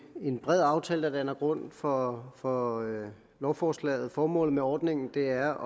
bred aftale der danner grund for for lovforslaget formålet med ordningen er